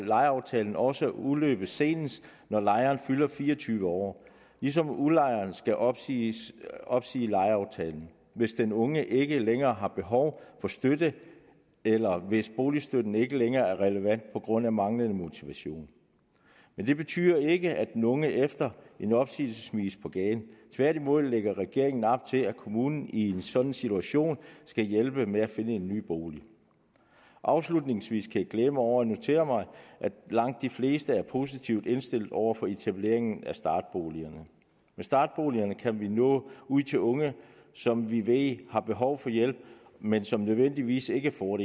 lejeaftalen også udløbe senest når lejeren fylder fire og tyve år ligesom udlejeren skal opsige opsige lejeaftalen hvis den unge ikke længere har behov for støtte eller hvis boligstøtten ikke længere er relevant på grund af manglende motivation men det betyder ikke at den unge efter en opsigelse smides på gaden tværtimod lægger regeringen op til at kommunen i en sådan situation skal hjælpe med at finde en ny bolig afslutningsvis kan jeg glæde mig over og notere mig at langt de fleste er positivt indstillet over for etablering af startboligejerne med startboligerne kan vi nå ud til unge som vi ved har behov for hjælp men som nødvendigvis ikke får